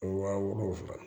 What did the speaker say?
Waa wɔɔrɔ